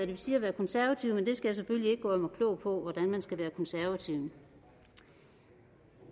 vil sige at være konservativ men jeg skal selvfølgelig ikke gøre mig klog på hvordan man skal være konservativ